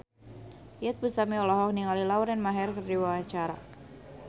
Iyeth Bustami olohok ningali Lauren Maher keur diwawancara